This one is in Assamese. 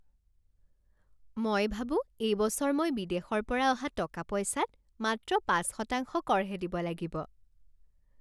মই ভাবো এইবছৰ মই বিদেশৰ পৰা অহা টকা পইচাত মাত্ৰ পাঁচশতাংশ কৰহে দিব লাগিব।